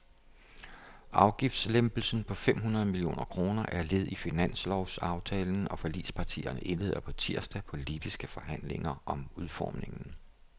Afgiftslempelsen på fem hundrede millioner kroner er led i finanslovsaftalen, og forligspartierne indleder på tirsdag politiske forhandlinger om udformningen.